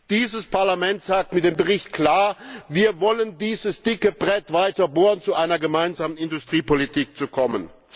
Dieses Parlament sagt mit dem Bericht klar Wir wollen dieses dicke Brett weiter bohren, um zu einer gemeinsamen Industriepolitik zu kommen.